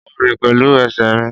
Mo ń rìn pẹ̀lú ẹsẹ̀ mi